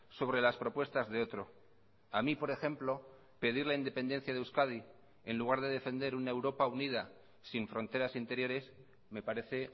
sobre las propuestas de otro a mí por ejemplo pedir la independencia de euskadi en lugar de defender una europa unida sin fronteras interiores me parece